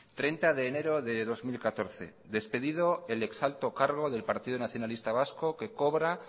treinta de enero de dos mil catorce despedido el ex alto cargo del partido nacionalista vasco que cobra